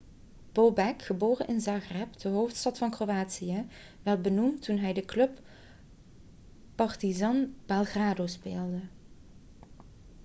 bobek geboren in zagreb de hoofdstad van kroatië werd beroemd toen hij voor de club partizan belgrado speelde